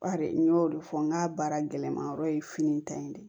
Bari n y'o de fɔ n ka baara gɛlɛman yɔrɔ ye fini ta ye de